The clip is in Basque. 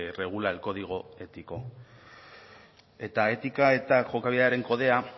regula el código ético eta etika eta jokabidearen kodea